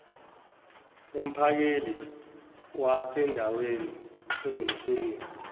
umphakeli wasendaweni unomsebenzi